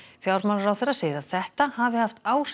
fjármálaráðherra segir að þetta hafi haft áhrif